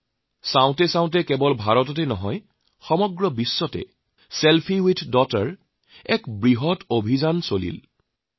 দেখাকৈ বা নেদেখাকৈয়ে কেৱল ভাৰততে নহয় সমগ্ৰ বিশ্ব জুৰি ছেলফি উইথ ডটাৰ এক বিৰাট অভিযান আৰম্ভ হৈ যায়